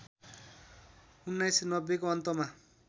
१९९०को अन्तमा